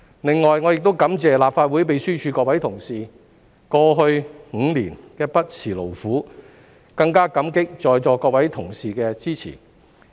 另外，我亦感謝立法會秘書處各位同事過去5年不辭勞苦，更加感激在座各位同事的支持。